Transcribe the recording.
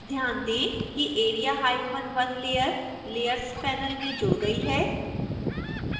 ध्यान दें कि area1 layer layers panel में जुड़ गई है